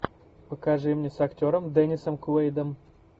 покажи мне с актером деннисом куэйдом